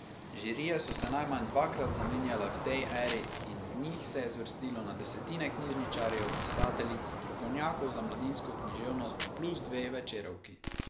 Žirije so se najmanj dvakrat zamenjale v tej eri in v njih se je zvrstilo na desetine knjižničarjev, pisateljic, strokovnjakov za mladinsko književnost plus dve večerovki.